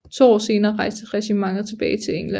To år senere rejste regimentet tilbage til England